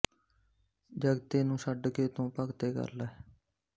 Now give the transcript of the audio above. ਜਗਤੇ ਨੂੰ ਛੱਡ ਕੇ ਤੂੰ ਭਗਤੇ ਕਰ ਲੈ